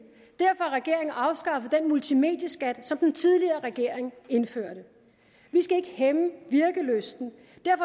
derfor har regeringen afskaffet den multimedieskat som den tidligere regering indførte vi skal ikke hæmme virkelysten